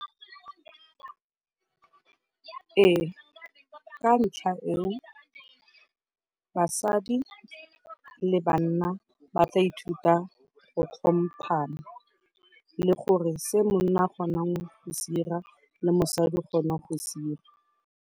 Ee ka ntlha eo, basadi le banna ba tla ithuta go tlhompana le gore se monna a kgonang go se 'ira le mosadi o kgona go se 'ira.